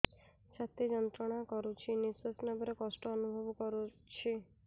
ଛାତି ଯନ୍ତ୍ରଣା କରୁଛି ନିଶ୍ୱାସ ନେବାରେ କଷ୍ଟ ଅନୁଭବ କରୁଛି